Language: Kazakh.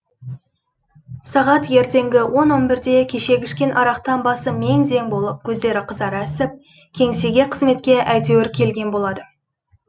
сағат ертеңгі он он бірде кешегі ішкен арақтан басы мең зең болып көздері қызара ісіп кеңсеге қызметке әйтеуір келген болады